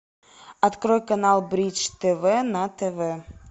открой канал бридж тв на тв